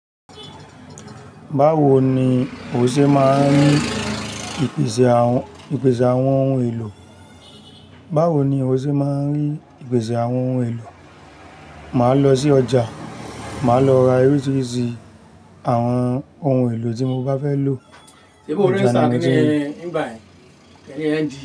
Báwo ni o ṣe máa ń rí ìpèsè àwọn ohun èlò? Báwo ni o ṣe máa ń rí ìpèsè àwọn ohun èlò? Màá lọ sí ọjà, màá lọ ra oríṣiríṣi àwọn ohun èlò tí mo bá fẹ́ lò. Ṣé bó ò regista kí ni, nígbà yẹn kí ni nd?